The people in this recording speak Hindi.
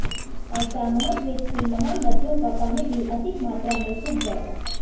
ऐसा महाद्वीप की महान नदियों का पानी भी अधिक मात्रा में सूख जाएगा